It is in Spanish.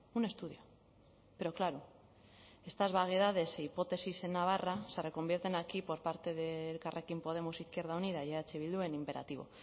un estudio pero claro estas vaguedades e hipótesis en navarra se reconvierten aquí por parte de elkarrekin podemos izquierda unida y eh bildu en imperativo